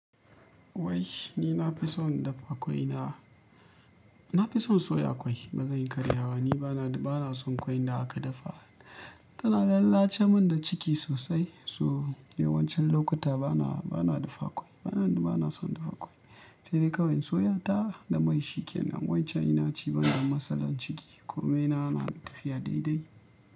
Wai ni na fi son dafa ƙwai na, na fi son soya ƙwai. Ba zan yi karya ba, ni ba na, ba na son ƙwai da aka dafa. Tana lalace mun da ciki sosai. So yawancin lokuta ba na, ba na dafa ƙwai, ba na, ba na son dafa ƙwai. Sai dai kawai soya ta da mai shikenan. Yawanci ina ci banda matsalar ciki. Ƙome na na tafiya daidai.